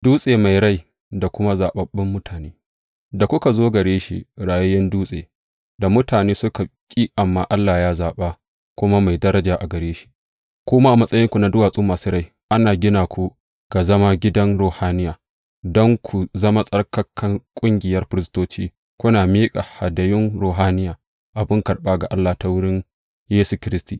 Dutse mai rai da kuma zaɓaɓɓun mutane Da kuka zo gare shi, rayayyen Dutse, da mutane suka ƙi amma Allah ya zaɓa, kuma mai daraja a gare shi ku ma, a matsayinku na duwatsu masu rai, ana gina ku ga zama gidan ruhaniya don ku zama tsattsarkar ƙungiyar firistoci, kuna miƙa hadayun ruhaniya, abin karɓa ga Allah ta wurin Yesu Kiristi.